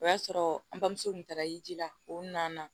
O y'a sɔrɔ an bamuso tun taara yiri la o na na